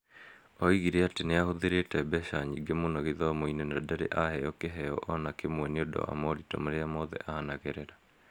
Oigire atĩ nĩahũthĩrite mbeca nyingĩ muno gĩthomo-inĩ na ndarĩ aheo kiheo o na kĩmwe nĩ ũndũ wa moritũ marĩa mothe anagerera.